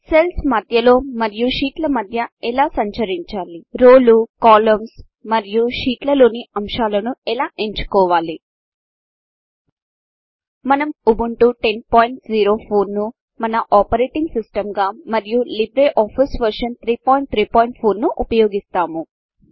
cells మధ్యలో మరియు షీట్ల మధ్య ఎలా సంచరించాలి రోలు కాలమ్స్ మరియు షీట్ల లోని అంశాలను ఎలా ఎంచుకోవాలి మనము ఉబంటు 1004 ను మన ఆపరేటింగ్సిస్టంగా మరియు లిబ్రే ఆఫీస్ వర్షన్ 334 ను ఉపయోగిస్తాము